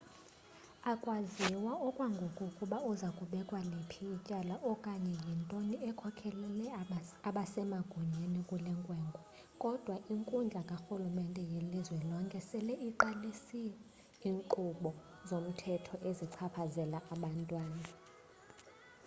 akwaziwa okwangoku ukuba uza kubekwa liphi ityala okanye yintoni ekhokhelele abasemagunyeni kule nkwenkwe kodwa inkundla karhulumente welizwe lonke sele iqalise iinkqubo zomthetho ezichaphazela abantwana